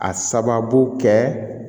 A sababu kɛ